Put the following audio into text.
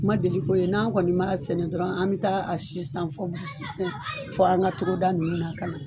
Ma deli k'o ye. N'an kɔni b'a sɛnɛ dɔrɔn an be taa a si san fɔ fin, fo an ka togoda nunnu na ka na.